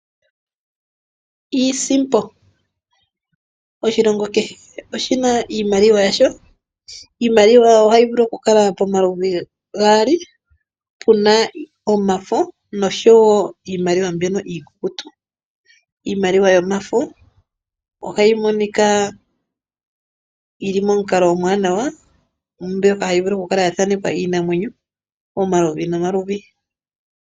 Iisimpo, oshilongo kehe oshina iimaliwa yasho. Iimaliwa ohayi vulu okukala pomaludhi gaali puna iimaliwa yomafo noshowo iimaliwa mbyono iikukutu. Iimaliwa yomafo ohayi monika yili momukala omwaanawa mbyoka hayi vulu okukala ya thanekwa iinamwenyo yomaludhi nomaludhi.